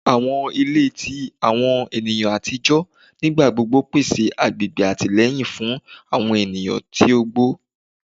Awọn ile ti awọn eniyan atijọ nigbagbogbo pese agbegbe atilẹyin fun awọn eniyan ti ogbo